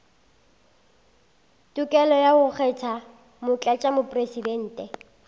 tokelo ya go kgetha motlatšamopresidente